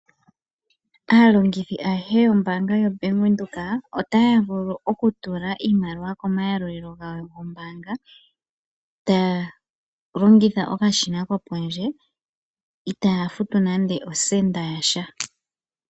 Aalongithi ayehe yoombaanga yoBank Windhoek otaya vulu okutula iimaliwa komayalulilo gawo gombaanga, taya longitha okashina kopondje itaaya futu nande osenda yasha.